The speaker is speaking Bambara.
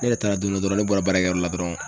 Ne yɛ taara don dɔ dɔrɔn ne bɔra baarakɛyɔrɔ la dɔrɔn